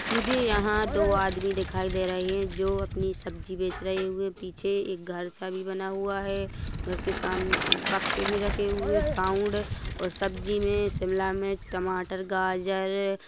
मुझे यहाँ दो आदमी दिखाई दे रहे है जो अपनी सब्जी बेच रहे हुए पीछे एक घर सा भी बना हुआ है घर के सामन-बक्से भी रखे हुए साउंड और सब्जी में शिमला मिर्च टमाटर गाजर अ।